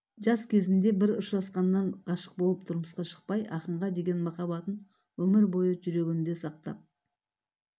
жас кезінде бір ұшырасқаннан ғашық болып тұрмысқа шықпай ақынға деген махаббатын өмір бойы жүрегінде сақтап